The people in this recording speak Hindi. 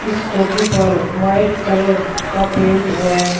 स्कूटी पर वाइट कलर का पेंट है।